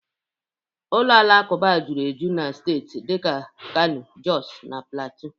ụlọ alakụba juru eju na steeti dika Kano, Jọs na Platịu